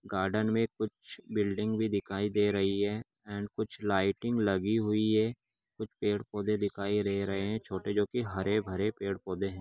Garden मे कुछ building भी दिखाई दे रही है एण्ड कुछ लाइटिंग लगी हुई है कुछ पेड़-पौधे दिखाई दे रहे है छोटे जो की हरे-भरे पेड़-पौधे है।